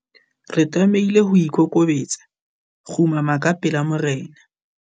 Re tlamehile ho ikokobetsa, kgumama ka pela morena.